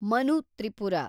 Manu Tripura